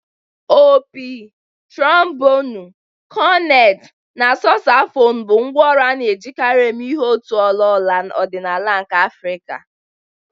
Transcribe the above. Opi, trumubonu, korneti, na sosafonu bụ ngwá ọrụ a na-ejikarị eme ihe n'òtù ọla ọla ọdịnala ndị Afrika.